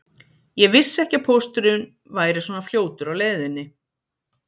Ég vissi ekki að pósturinn væri svona fljótur á leiðinni